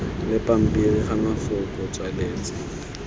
la pampiri ka mafoko tswaletswe